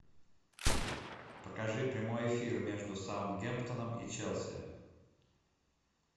покажи прямой эфир между саутгемптоном и челси